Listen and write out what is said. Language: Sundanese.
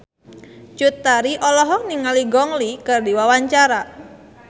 Cut Tari olohok ningali Gong Li keur diwawancara